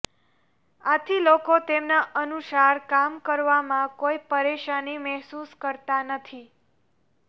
આથી લોકો તેમના અનુસાર કામ કરવામાં કોઇ પરેશાની મહેસૂસ કરતાં નથી